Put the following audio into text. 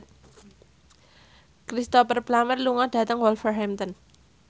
Cristhoper Plumer lunga dhateng Wolverhampton